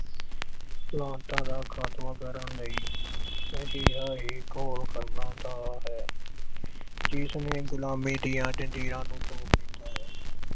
ਕੁਰੀਤੀਆਂ ਦੀ ਖਾਤਮਾ ਕਰਨ ਲਈ ਅਜਿਹਾ ਹੀ ਘੋਲ ਕਰਨਾ ਦਾ ਹੈ ਜਿਸ ਨੇ ਗੁਲਾਮੀ ਦੀਆਂ ਜ਼ੰਜੀਰਾਂ ਨੂੰ ਤੋੜ ਦਿੱਤਾ ਹੈ।